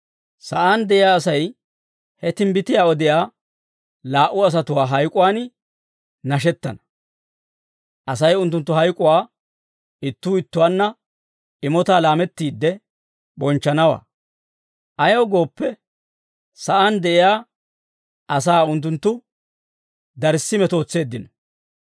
Sa'aan de'iyaa Asay ha timbbitiyaa odiyaa laa"u asatuwaa hayk'uwaan nashettana. Asay unttunttu hayk'uwaa ittuu ittuwaanna imotaa laamettiidde bonchchanawaa; Ayaw gooppe, sa'aan de'iyaa asaa unttunttu darssi metootseeddino.